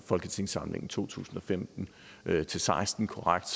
folketingssamlingen to tusind og femten til seksten korrekt